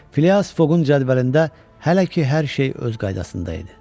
Filas Foqun cədvəlində hələ ki hər şey öz qaydasında idi.